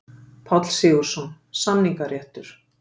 Páll Sigurðsson: Samningaréttur.